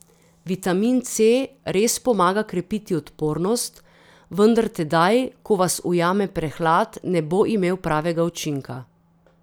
Vitamin C res pomaga krepiti odpornost, vendar tedaj, ko vas ujame prehlad, ne bo imel pravega učinka.